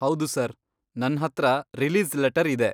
ಹೌದು ಸರ್. ನನ್ಹತ್ರ release letter ಇದೆ.